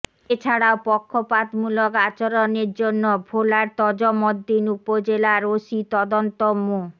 এছাড়াও পক্ষপাতমূলক আচরণের জন্য ভোলার তজুমদ্দিন উপজেলার ওসি তদন্ত মো